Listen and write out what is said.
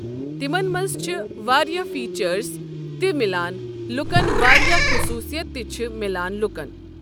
تِمن منٛز چھِ واریاہ فیٖچٲرٕز تہِ مِلان لُکَن واریاہ خۄصوٗصِیَت تہِ چھِ میلان لُکَن ۔